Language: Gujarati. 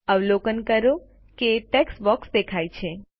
અવલોકન કરો કે ટેક્સ્ટ બોક્સ દેખાય છે